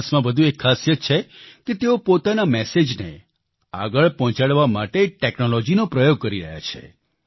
જોનસમાં વધુ એક ખાસીયત છે કે તેઓ પોતાના મેસેજને આગળ પહોંચાડવા માટે ટેક્નોલોજીનો પ્રયોગ કરી રહ્યા છે